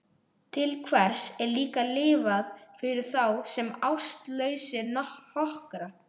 Til hvers er líka lifað fyrir þá sem ástlausir hokra?